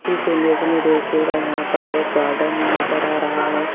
इस इमेज में देखिएगा यहां पर एक गार्डन नजर आ रहा है।